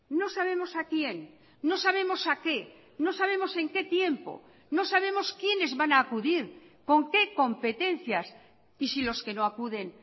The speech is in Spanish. no sabemos a quién no sabemos a qué no sabemos en qué tiempo no sabemos quienes van a acudir con qué competencias y si los que no acuden